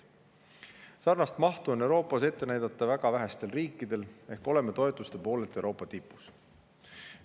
Sarnast mahtu on Euroopas ette näidata väga vähestel riikidel, seega oleme toetuste poolest Euroopa tipus.